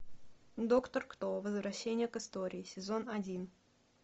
доктор кто возвращение к истории сезон один